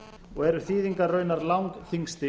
og eru þýðingar raunar langþyngsti